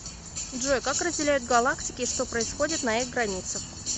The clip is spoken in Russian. джой как разделяют галактики и что происходит на их границах